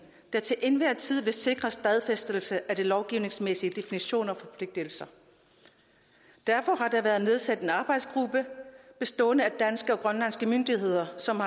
der til enhver tid vil sikre stadfæstelse af de lovgivningsmæssige definitioner og forpligtelser derfor har der været nedsat en arbejdsgruppe bestående af danske og grønlandske myndigheder som